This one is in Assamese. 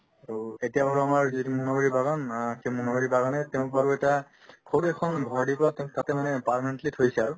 আৰু এতিয়া ধৰা আমাৰ যিহেতু মনাবাৰী বাগান আ তে মনাবাৰী বাগানে তেওঁক বাৰু এটা সৰু এখন ঘৰ দেখুৱাকে তাতে মানে permanently থৈছে আৰু